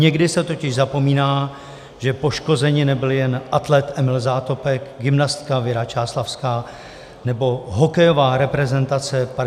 Někdy se totiž zapomíná, že poškozeni nebyli jen atlet Emil Zátopek, gymnastka Věra Čáslavská nebo hokejová reprezentace 50. let.